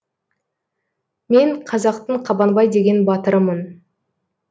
мен қазақтың қабанбай деген батырымын